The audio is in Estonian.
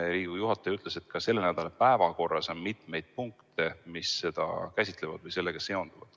Riigikogu juhataja ütles, et ka selle nädala päevakorras on mitu punkti, mis seda käsitleb või sellega seondub.